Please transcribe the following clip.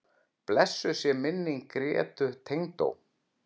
Blessuð sé minning Grétu tengdó.